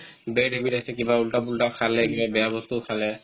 bad habit আছে কিবা ওলটা-পোলটা খালে কিবা বেয়া বস্তু খালে